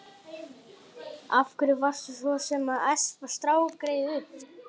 Af hverju varstu svo sem að espa strákgreyið upp?